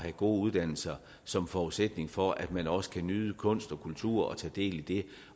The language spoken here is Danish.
gode uddannelser som forudsætning for at den også kan nyde kunst og kultur og tage del i det